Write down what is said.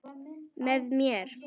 Með mér.